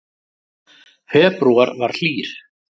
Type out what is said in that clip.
Febrúar var hlýr